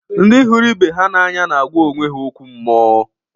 ndị hụrụ ibe ha n’anya na-agwa ibe ha okwu mmụọ